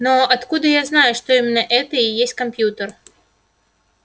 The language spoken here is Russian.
но откуда я знаю что именно это и есть компьютер